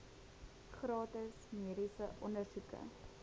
gratis mediese ondersoeke